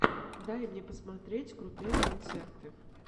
дай мне посмотреть крутые концерты